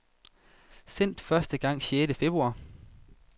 Sendt første gang sjette februar.